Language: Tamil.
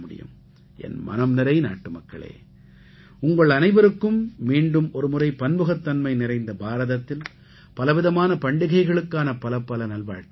என் மனம் நிறை நாட்டுமக்களே உங்கள் அனைவருக்கும் மீண்டும் ஒருமுறை பன்முகத்தன்மை நிறைந்த பாரதத்தில் பலவிதமான பண்டிகைகளுக்கான பலப்பல நல்வாழ்த்துக்கள்